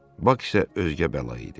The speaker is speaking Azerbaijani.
Bak isə özgə bəla idi.